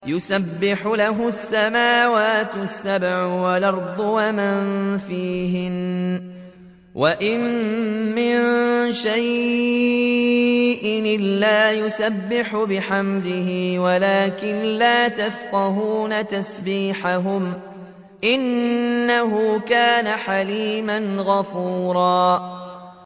تُسَبِّحُ لَهُ السَّمَاوَاتُ السَّبْعُ وَالْأَرْضُ وَمَن فِيهِنَّ ۚ وَإِن مِّن شَيْءٍ إِلَّا يُسَبِّحُ بِحَمْدِهِ وَلَٰكِن لَّا تَفْقَهُونَ تَسْبِيحَهُمْ ۗ إِنَّهُ كَانَ حَلِيمًا غَفُورًا